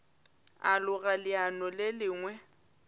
a loga leano le lengwe